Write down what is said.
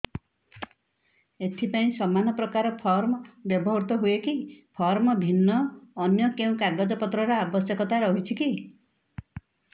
ଏଥିପାଇଁ ସମାନପ୍ରକାର ଫର୍ମ ବ୍ୟବହୃତ ହୂଏକି ଫର୍ମ ଭିନ୍ନ ଅନ୍ୟ କେଉଁ କାଗଜପତ୍ରର ଆବଶ୍ୟକତା ରହିଛିକି